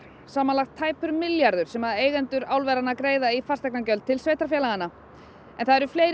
samanlagt tæpur milljarður sem eigendur álveranna greiða í fasteignagjöld til sveitarfélaganna en það eru fleiri